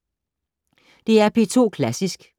DR P2 Klassisk